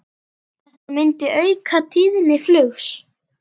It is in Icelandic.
Þetta myndi auka tíðni flugs.